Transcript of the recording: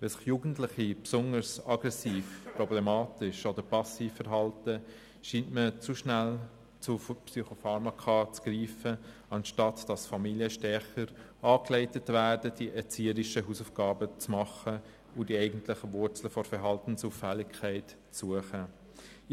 Wenn sich Jugendliche besonders aggressiv, problematisch oder passiv verhalten, scheint man zu schnell zu Psychopharmaka zu greifen, statt Familien stärker anzuleiten, die erzieherischen Hausaufgaben zu machen und die eigentlichen Wurzeln der Verhaltensauffälligkeit zu suchen.